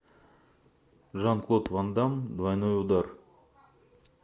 жан клод ван дамм двойной удар